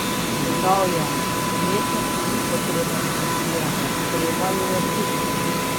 Dodal je: "Umetnosti ni potrebno dešifrirati, treba jo je občutiti.